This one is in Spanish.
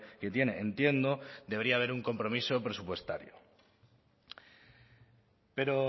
que tiene entiendo debería haber un compromiso presupuestario pero